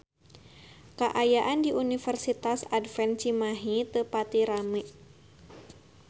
Kaayaan di Universitas Advent Cimahi teu pati rame